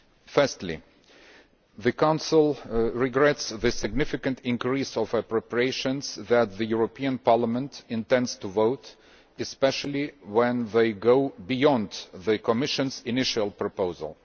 Firstly, the Council regrets the significant increase in appropriations that the European Parliament intends to vote on, especially when they go beyond the Commission's initial proposal.